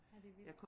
Ja det er vildt